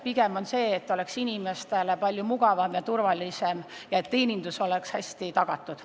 Pigem on eesmärk, et inimestele oleks kõik palju mugavam ja turvalisem, et hea teenindus oleks tagatud.